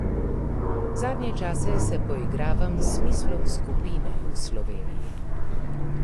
Zadnje čase se poigravam s smislom skupine v Sloveniji.